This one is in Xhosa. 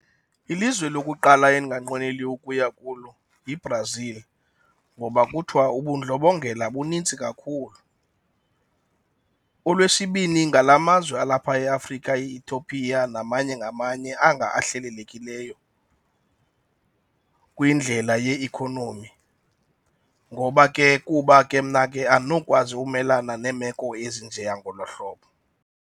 Ilizwe lokuqala endinganqweneliyo ukuya kulo yiBrazil ngoba kuthiwa ubundlobongela bunintsi kakhulu. Olwesibini ngala mazwe alapha eAfrika, iEthiopia namanye ngamanye anga ahlelelekileyo kwindlela yeikhonomi ngoba ke kuba ke mna ke andinokwazi ukumelana neemeko ezinjeya ngolwaa hlobo.